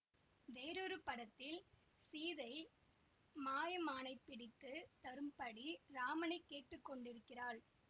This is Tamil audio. வேறொரு படத்தில் சீதை மாயமானைப் பிடித்து தரும்படி இராமனை கேட்டு கொண்டிருக்கிறாள்